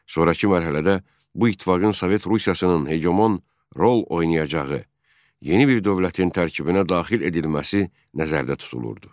Sonrakı mərhələdə bu ittifaqın Sovet Rusiyasının hegemon rol oynayacağı yeni bir dövlətin tərkibinə daxil edilməsi nəzərdə tutulurdu.